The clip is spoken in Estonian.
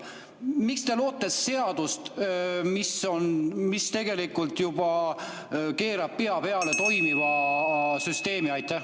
Miks te loote seadust, mis tegelikult keerab pea peale toimiva süsteemi?